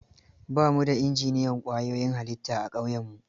Ba mu da injiniyan ƙwayoyin halitta a ƙauyenmu.